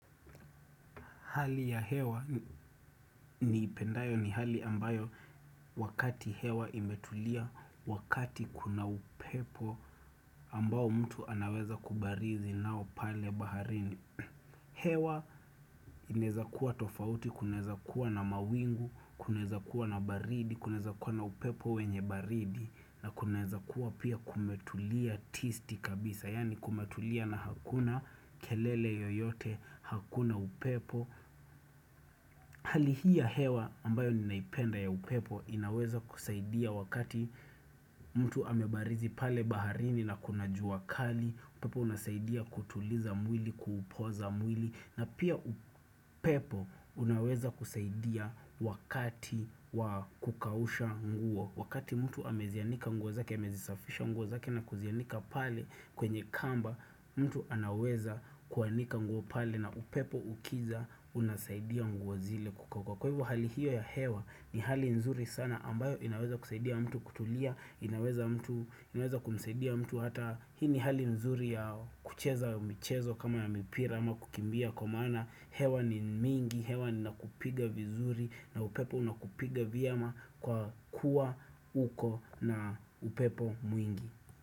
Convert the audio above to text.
Hali ya hewa niipendayo ni hali ambayo wakati hewa imetulia, wakati kuna upepo ambao mtu anaweza kubarizi nao pale baharini. Hewa inawezakuwa tofauti, kunaweza kuwa na mawingu, kunaweza kuwa na baridi, kunaweza kuwa na upepo wenye baridi, na kunaweza kuwa pia kumetulia tisti kabisa, yaani kumetulia na hakuna kelele yoyote, hakuna upepo. Hali hii ya hewa ambayo ninaipenda ya upepo inaweza kusaidia wakati mtu amebarizi pale baharini na kunajua kali upepo unasaidia kutuliza mwili, kupoza mwili na pia upepo unaweza kusaidia wakati wa kukausha nguo Wakati mtu amezianika nguo zake, amezisafisha nguo zake na kuzianika pale kwenye kamba mtu anaweza kuanika nguo pale na upepo ukija unasaidia nguo zile kukauka Kwa hivyo hali hiyo ya hewa ni hali nzuri sana ambayo inaweza kusaidia mtu kutulia inaweza mtu inaweza kumsaidia mtu hata Hii ni hali nzuri ya kucheza mchezo kama ya mipira ama kukimbia Kwa maana hewa ni mingi hewa ni nakupiga vizuri na upepo unakupiga vyema kwa kuwa uko na upepo mwingi.